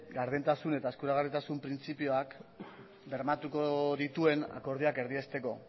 gardentasun eta eskuragarritasun printzipioak bermatuko dituen akordioak erdiesteko